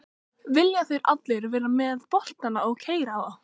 Vilja þeir allir vera með boltann og keyra á?